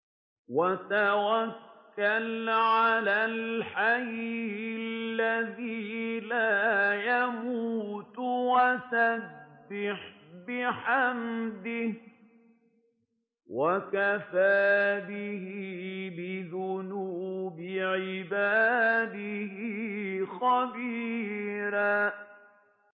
وَتَوَكَّلْ عَلَى الْحَيِّ الَّذِي لَا يَمُوتُ وَسَبِّحْ بِحَمْدِهِ ۚ وَكَفَىٰ بِهِ بِذُنُوبِ عِبَادِهِ خَبِيرًا